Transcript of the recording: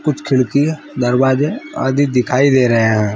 कुछ खिड़कीयाँ दरवाजे आदि दिखाई दे रहे है।